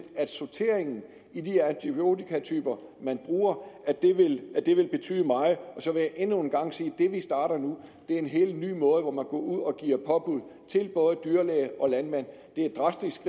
at sorteringen af de antibiotikatyper man bruger vil betyde meget og så vil jeg endnu en gang sige at det vi starter nu er en helt ny måde hvor man går ud og giver påbud til både dyrlæge og landmand det er et drastisk